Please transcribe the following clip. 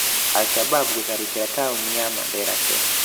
Al Shabab gũtharĩkĩra taũni ya Mandera Kenya.